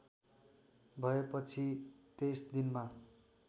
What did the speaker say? भएपछि २३ दिनमा